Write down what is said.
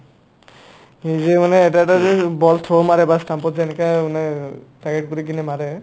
এই যে মানে এটা এটাকে অ, ball throw মাৰে বা stump ত যায় এনেকা মানে target কৰিকিনে মাৰে